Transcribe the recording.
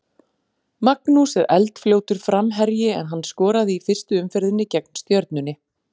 Magnús er eldfljótur framherji en hann skoraði í fyrstu umferðinni gegn Stjörnunni.